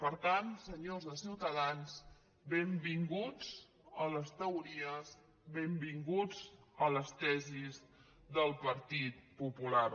per tant senyors de ciutadans benvinguts a les teories benvinguts a les tesis del partit popular